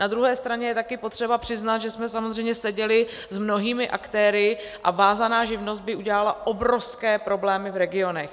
Na druhé straně je taky potřeba přiznat, že jsme samozřejmě seděli s mnohými aktéry, a vázaná živnost by udělala obrovské problémy v regionech.